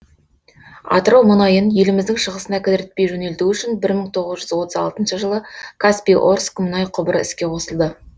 атырау мұнайын еліміздің шығысына кідіртпей жөнелту үшін бір мың тоғыз жүз отыз алтыншы жылы каспий орск мұнай құбыры іске қосылды